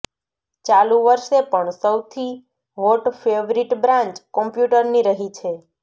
ચાલુ વર્ષે પણ સૌથી હોટ ફેવરિટ બ્રાન્ચ કોમ્પ્યૂટરની રહી છે